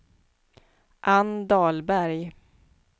Anne Dahlberg